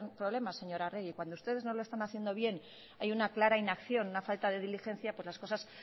problema señora arregi cuando ustedes no lo están haciendo bien hay una clara inacción una falta de diligencia pues las cosas